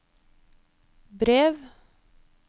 brev